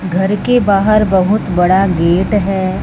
घर के बाहर बहुत बड़ा गेट है।